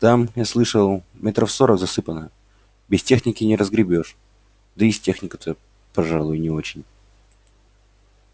там я слышал метров сорок засыпано без техники не разгребёшь да и с техникой-то пожалуй не очень